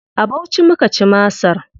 A Bauchi muka ci masar.